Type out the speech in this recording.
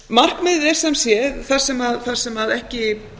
markmiðið er sem sé þar sem ekki